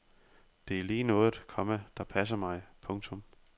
Det er lige noget, komma der passer mig. punktum